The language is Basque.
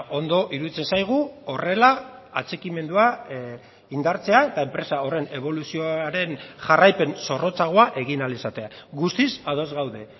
ondo iruditzen zaigu horrela atxikimendua indartzea eta enpresa horren eboluzioaren jarraipen zorrotzagoa egin ahal izatea guztiz ados gaude